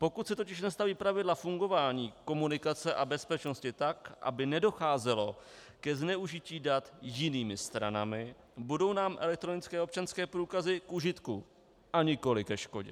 Pokud se totiž nastaví pravidla fungování, komunikace a bezpečnosti tak, aby nedocházelo ke zneužití dat jinými stranami, budou nám elektronické občanské průkazy k užitku a nikoli ke škodě.